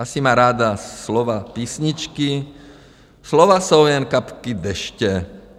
Asi má ráda slova písničky "slova jsou jen kapky deště".